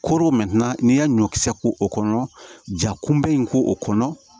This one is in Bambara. Koro n'i y'a ɲɔkisɛ ko o kɔnɔ ja kunbɛ in k'o kɔnɔ